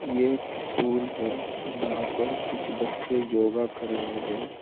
यह एक स्कूल है यहां पर कुछ बच्चे योगा कर रहे है।